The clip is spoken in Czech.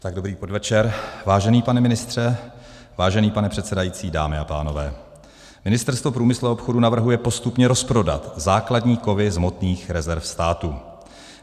Dobrý podvečer, vážený pane ministře, vážený pane předsedající, dámy a pánové, Ministerstvo průmyslu a obchodu navrhuje postupně rozprodat základní kovy z hmotných rezerv státu.